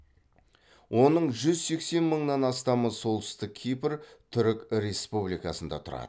оның жүз сексен мыңнан астамы солтүстік кипр түрік республикасында тұрады